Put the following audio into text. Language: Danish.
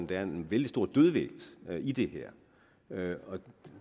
der er en vældig stor dødvægt i det her